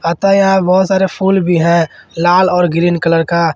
अतः यहां बहोत सारे फूल भी है लाल और ग्रीन कलर का।